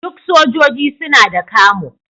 Duk sojoji suna da camo.